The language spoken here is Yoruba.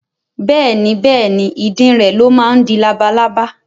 Bẹ́ẹ̀ni Bẹ́ẹ̀ni ìdin rẹ̀ ló máa ń di labalábá